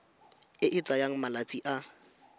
e e tsayang malatsi a